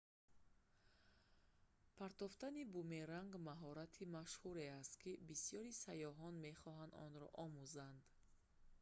партофтани бумеранг маҳорати машҳуре аст кӣ бисёри сайёҳон мехоҳанд онро омузанд